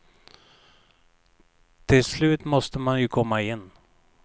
Till slut måste man ju komma in.